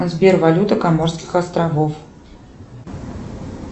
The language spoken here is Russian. сбера валюта коморских островов